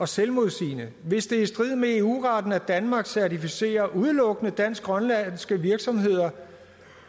selvmodsigende hvis det er i strid med eu retten at danmark certificerer udelukkende dansk grønlandske virksomheder